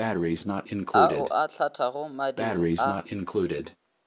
ao a hlathago madiri a